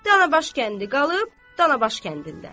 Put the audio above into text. Canabaş kəndi qalıb Canabaş kəndində.